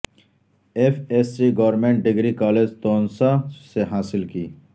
F S C government degree college Taunsa سے حاصل کی